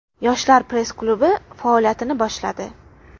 Yoshlar press-klubi faoliyatini boshladi .